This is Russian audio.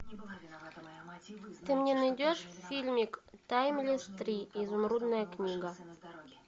ты мне найдешь фильмик таймлесс три изумрудная книга